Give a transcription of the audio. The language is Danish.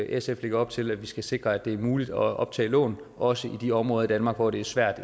sf lægger op til at vi skal sikre at det er muligt optage lån også i de områder i danmark hvor det er svært